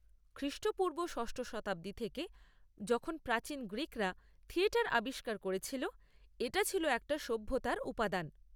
খ্রিষ্টপূর্ব ষষ্ঠ শতাব্দী থেকে, যখন প্রাচীন গ্রীকরা থিয়েটার আবিষ্কার করেছিল, এটা ছিল একট সভ্যতার উপাদান।